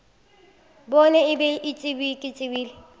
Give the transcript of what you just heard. bone e bile ke tsebile